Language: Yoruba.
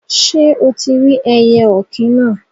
Sé o tí rí ẹyẹ òkín náà?